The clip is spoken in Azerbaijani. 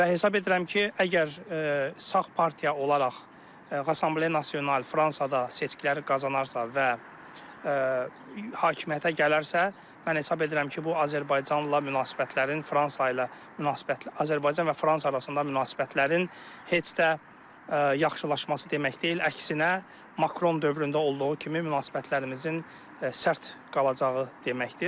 Və hesab edirəm ki, əgər sağ partiya olaraq Rəssemble Nasional Fransada seçkiləri qazanarsa və hakimiyyətə gələrsə, mən hesab edirəm ki, bu Azərbaycanla münasibətlərin, Fransa ilə münasibət Azərbaycan və Fransa arasında münasibətlərin heç də yaxşılaşması demək deyil, əksinə Makron dövründə olduğu kimi münasibətlərimizin sərt qalacağı deməkdir.